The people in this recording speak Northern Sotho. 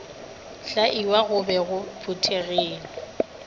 hlaiwa go be go phuthegile